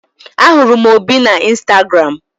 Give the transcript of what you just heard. Ahụrụ m Obi na Instagram.